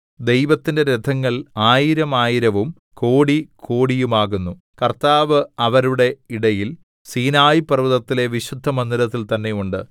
ദൈവത്തിന്റെ രഥങ്ങൾ ആയിരമായിരവും കോടി കോടിയുമാകുന്നു കർത്താവ് അവരുടെ ഇടയിൽ സീനായി പര്‍വ്വതത്തിലെ വിശുദ്ധമന്ദിരത്തിൽ തന്നെ ഉണ്ട്